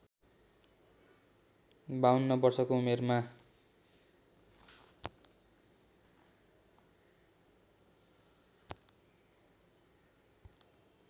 ५२ वर्षको उमेरमा